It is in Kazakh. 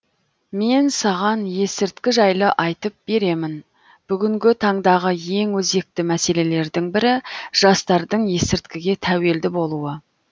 мен саған есірткі жайлы айтып беремін бүгінгі таңдағы ең өзекті мәселелердің бірі жастардың есірткіге тәуелді болуы